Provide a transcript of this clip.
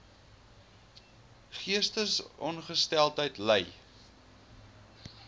geestesongesteldheid ly